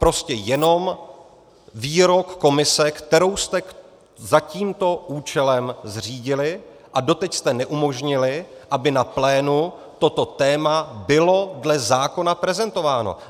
Prostě jenom výrok komise, kterou jste za tímto účelem zřídili, a doteď jste neumožnili, aby na plénu toto téma bylo dle zákona prezentováno.